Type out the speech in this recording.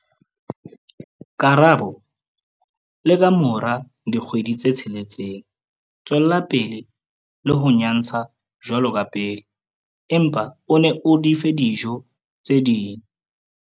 Karabo- Le ka mora dikgwedi tse tsheletseng, tswela pele le ho nyatsha jwalo ka pele, empa o le fe le dijo tse ding.